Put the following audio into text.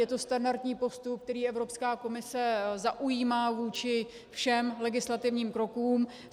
Je to standardní postup, který Evropská komise zaujímá vůči všem legislativním krokům.